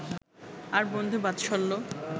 আর বন্ধুবাৎসল্য